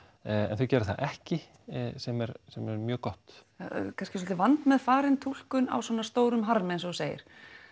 en þau gera það ekki sem er sem er mjög gott kannski svolítið vandmeðfarin túlkun á svona stórum harmi eins og þú segir